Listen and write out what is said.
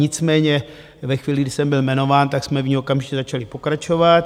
Nicméně ve chvíli, kdy jsem byl jmenován, tak jsme v ní okamžitě začali pokračovat.